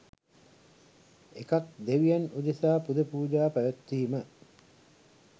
එකක් දෙවියන් උදෙසා පුද පූජා පැවැත්වීම